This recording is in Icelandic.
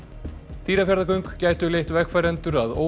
Dýrafjarðargöng gætu leitt vegfarendur að